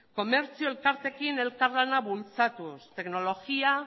komertzio elkarteekin elkarlana bultzatuz teknologia